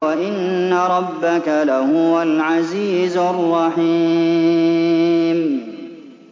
وَإِنَّ رَبَّكَ لَهُوَ الْعَزِيزُ الرَّحِيمُ